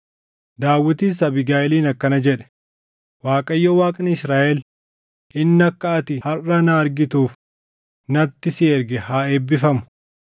Daawitis Abiigayiiliin akkana jedhe; “ Waaqayyo Waaqni Israaʼel inni akka ati harʼa na argituuf natti si erge haa eebbifamu.